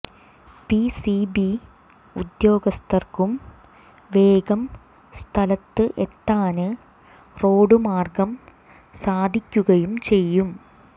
PCB ഉദ്യോഗസ്ഥര്ക്കും വേഗം സ്ഥലത്ത് എത്താന് റോഡ് മാര്ഗം സാധിക്കുകയും ചെയ്യും